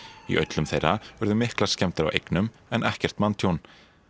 í öllum þeirra urðu miklar skemmdir á eignum en ekkert manntjón